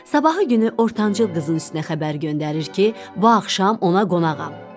Sabahı günü ortancıl qızın üstünə xəbər göndərir ki, bu axşam ona qonağam.